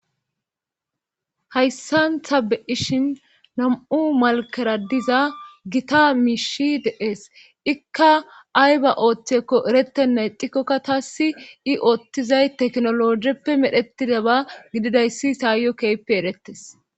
Hayssantha beishin nam7u malkera diza gita miishi dees ikka ay ba ooththekko erettenne dikkokka taassi i oottizay teknologeppe medhetide ba gididayssi saayyo keyppe erettes.